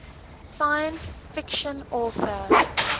science fiction author